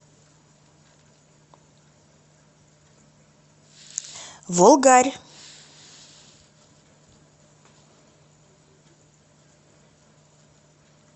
волгарь